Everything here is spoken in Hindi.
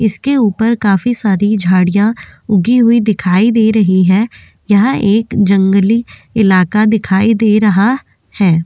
इसके ऊपर काफी सारी झाड़ियां उगी हुई दिखाई दे रही है यह एक जंगली इलाका दिखाई दे रहा है।